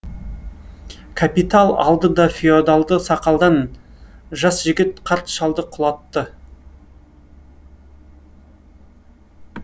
капитал алды да феодалды сақалдан жас жігіт қарт шалды құлатты